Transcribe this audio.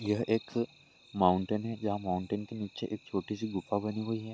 यह एक माउंटेन है जहां माउंटेन के नीचे एक छोटी सी गुफा बनी हुई है।